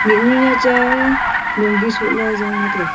mihnu nya cha e longgi shola jongla taiga.